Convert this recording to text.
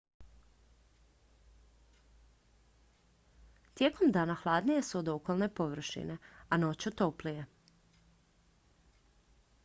tijekom dana hladnije su od okolne površine a noću toplije